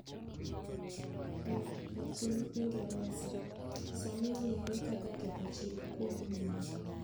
Ee, e piny Ingresa, sani ong'ere kaka ketho chik kuom ng'iyo.